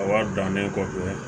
A wari dannen kɔfɛ